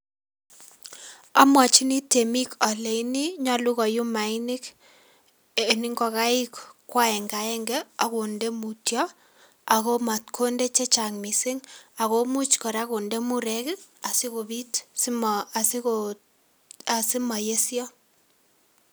Amwachini temik aleni nyolu koyum mainik eng ingokaik ko aenge aenge akonde mutyo ako amatkondee chechang mising ako much kondee murek kora sikopit asimayesio.